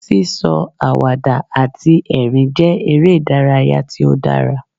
Sí sọ àwàdà àti ẹ̀rín jẹ́ eré ìdárayá tí ó dára.